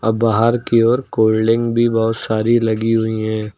बाहर की ओर कोल्ड ड्रिंक भी बहोत सारी लगी हुई हैं।